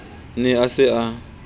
ne a se a a